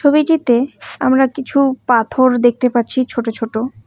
ছবিটিতে আমরা কিছু পাথর দেখতে পাচ্ছি ছোট ছোট।